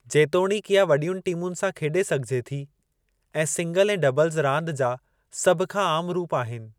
जेतोणीकि इहा वॾीयुनि टीमुनि सां खेॾे सघिजे थी ऐं सिंगल ऐं डबल्ज़ रांदि जा सभ खां आमु रूपु आहिनि।